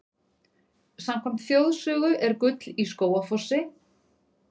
Samkvæmt þjóðsögu er gull í Skógafossi.